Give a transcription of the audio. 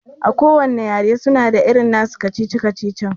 A kowanne yare suna da nasu irin kacici-kacici